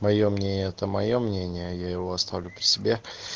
моё мнение это моё мнение я его оставлю при себе